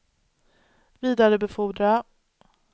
vidarebefordra